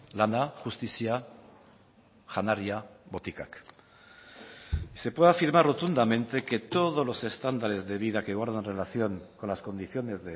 lana justizia janaria botikak y se puede afirmar rotundamente que todos los estándares de vida que guardan relación con las condiciones